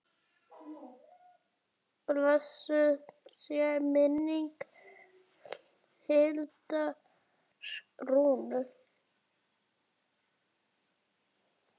Blessuð sé minning Hildar Rúnu.